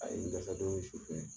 A ye n dɛsɛ don min su fɛ